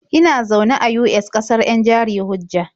Ina zaune a US, ƙasar 'yan jari-hujja.